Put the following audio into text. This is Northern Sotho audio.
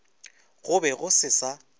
go be go se sa